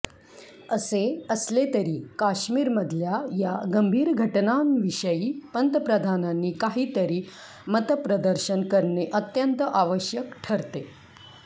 असे असले तरी काश्मीरमधल्या या गंभीर घटनांविषयी पंतप्रधानांनी काहीतरी मतप्रदर्शन करणे अत्यंत आवश्यक ठरते